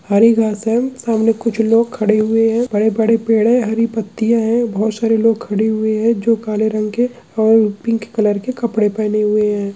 हरी घास है सामने कुछ लोग खड़े हुए है बड़े-बड़े पेड़ है हरी पत्तिया है बहुत सारे लोग खड़े हुए है जो काले रंग के और पिंक कलर के कपड़े पहने हुए है।